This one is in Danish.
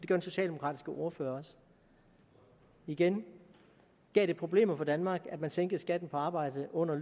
den socialdemokratiske ordfører også igen gav det problemer for danmark at man sænkede skatten på arbejde under